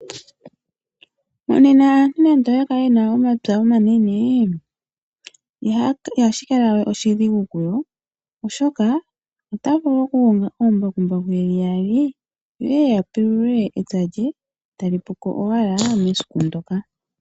Monena aantu nando oya kale yena omapya omanene ihashi kala we oshidhigu kuyo oshoka ota vulu okukonga oombakumbaku yeli yaali yo yeye ya pulule epya lye eta li puko owala mesiku ndoka.